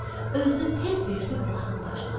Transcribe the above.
Özünü tez verdi bulağın başına.